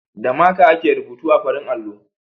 Da maka ake rubutu a farin allo.